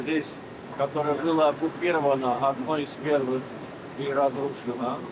O torpaq ki, onu işğal eləyiblər, hər birini dağıdıblar.